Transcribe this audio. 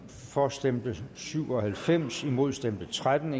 for stemte syv og halvfems imod stemte tretten